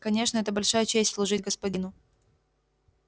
конечно это большая честь служить господину